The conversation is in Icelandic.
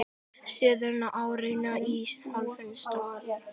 Síðustu árin í hálfu starfi.